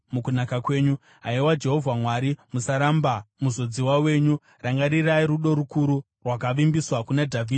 Haiwa Jehovha Mwari, musaramba muzodziwa wenyu. Rangarirai rudo rukuru rwakavimbiswa kuna Dhavhidhi muranda wenyu.”